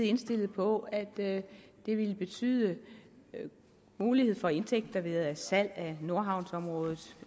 indstillet på at at det ville betyde en mulighed for indtægter ved salg af nordhavnsområdet